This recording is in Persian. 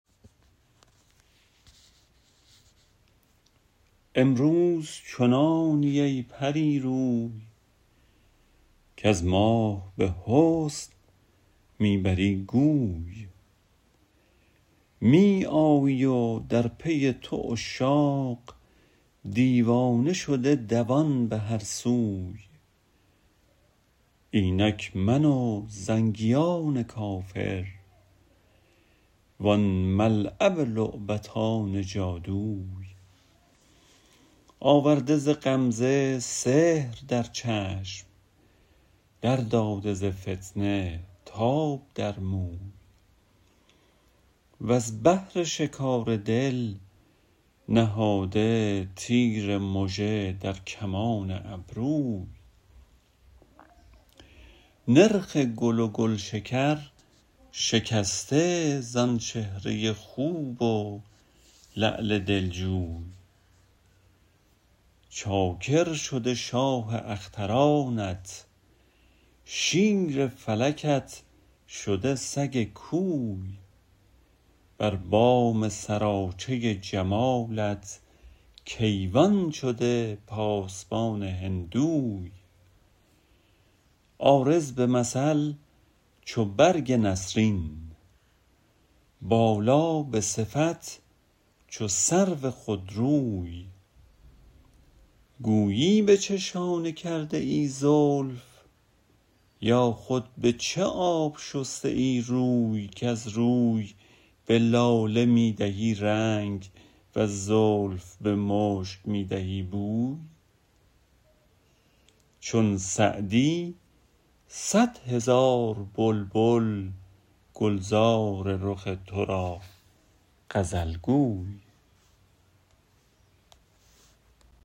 امروز چنانی ای پری روی کز ماه به حسن می بری گوی می آیی و در پی تو عشاق دیوانه شده دوان به هر سوی اینک من و زنگیان کافر وان ملعب لعبتان جادوی آورده ز غمزه سحر در چشم در داده ز فتنه تاب در موی وز بهر شکار دل نهاده تیر مژه در کمان ابروی نرخ گل و گلشکر شکسته زآن چهره خوب و لعل دلجوی چاکر شده شاه اخترانت شیر فلکت شده سگ کوی بر بام سراچه جمالت کیوان شده پاسبان هندوی عارض به مثل چو برگ نسرین بالا به صفت چو سرو خودروی گویی به چه شانه کرده ای زلف یا خود به چه آب شسته ای روی کز روی به لاله می دهی رنگ وز زلف به مشک می دهی بوی چون سعدی صد هزار بلبل گلزار رخ تو را غزل گوی